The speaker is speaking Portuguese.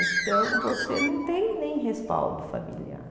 Então, você não tem nem respaldo familiar.